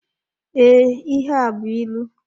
Ee, ihe a bụ ịlụ.